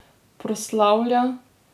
Proslavlja?